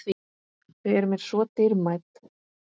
Þau eru mér svo dýrmæt.